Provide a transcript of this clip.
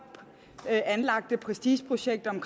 anlagte prestigeprojekt om